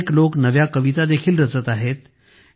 अनेक लोक नव्या कविता देखील रचत आहेत